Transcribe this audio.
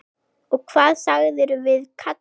Og hvað sagðirðu við kallinn?